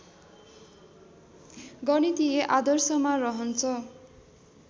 गणितीय आदर्शमा रहन्छ